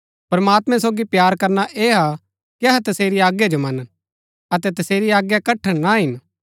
प्रमात्मैं सोगी प्‍यार करना ऐह हा कि अहै तसेरी आज्ञा जो मनन अतै तसेरी आज्ञा कठण ना हिन